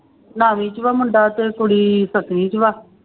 ਨੋਵੀਂ ਚ ਵਾਂ ਮੁੰਡਾ ਤੇ ਕੁੜੀ ਸੱਤਵੀਂ ਚ ਵਾ।